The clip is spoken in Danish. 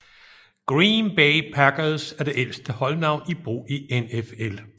Green Bay Packers er det ældste holdnavn i brug i NFL